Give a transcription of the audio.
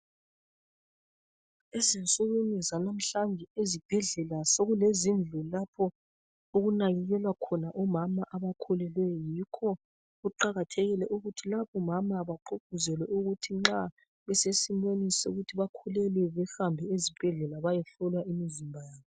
Ezinsukwini zanamhlanje ezibhedlela sokulezindlu lapho okunakekelwa khona omama abakhulelweyo, yikho kuqakathekile ukuthi la omama bagqugquzelwe ukuthi nxa besesimeni sokuthi bakhulelwe behambe ezibhedlela bayehlolwa imizimba yabo.